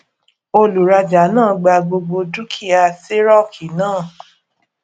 olùrajà náà gba gbogbo dúkìá tírọkì náà